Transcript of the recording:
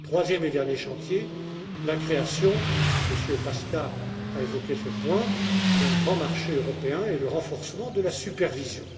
Troisième et dernier chantier la création évoquée par Monsieur Paška d'un grand marché européen et le renforcement de la supervision.